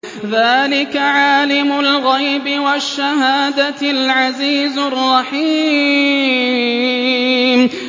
ذَٰلِكَ عَالِمُ الْغَيْبِ وَالشَّهَادَةِ الْعَزِيزُ الرَّحِيمُ